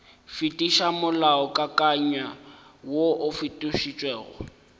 fetiša molaokakanywa woo o fetotšwego